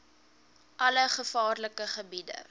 alle gevaarlike gebiede